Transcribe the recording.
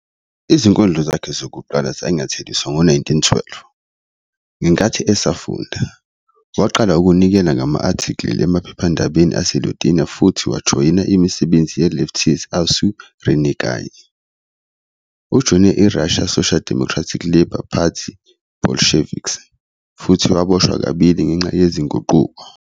Izinkondlo zakhe zokuqala zanyatheliswa ngo-1912. "Ngenkathi esafunda, waqala ukunikela ngama-" athikili emaphephandabeni aseLithuania futhi wajoyina imisebenzi ye-leftist aušrininkai. Ujoyine iRussian Social Democratic Labour Party, bolsheviks, futhi waboshwa kabili ngenxa yezinguquko.